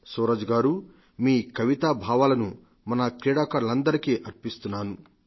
సూరజ్ గారు మీ కవితా భావాలను మన క్రీడాకారులందరికీ అర్పిస్తున్నాను